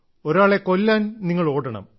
ഒരാളെ കൊല്ലാൻ നിങ്ങൾ ഓടണം